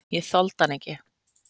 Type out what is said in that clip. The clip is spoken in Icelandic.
Ég þoldi hann ekki.